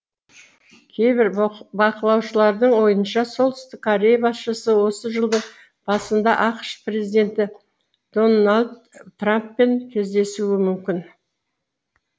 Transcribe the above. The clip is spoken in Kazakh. кейбір бақылаушылардың ойынша солтүстік корея басшысы осы жылдың басында ақш президенті дональд трамппен кездесуі мүмкін